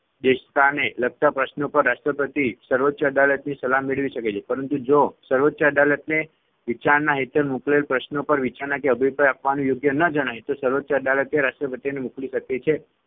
દેસતાને લગતા પ્રશ્નો પર રાષ્ટ્રપતિ સર્વોચ્ય અદાલતની સલાહ મેળવી શકે છે. પરંતુ જો સર્વોચ્ય અદાલતને વિચારણા હેઠળ મોકલેલ પ્રશ્ન પર વિચારણા કે અભિપ્રાય આપવાનું યોગ્ય ન જણાય તો સર્વોચ્ય અદાલત તે રાષ્ટ્રપતિને મોકલી શકે